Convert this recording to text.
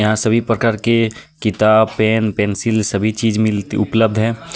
यहाँ सभी प्रकार के किताब पेन पेन्सिल सभी चीज मिलती उपलब्ध हे.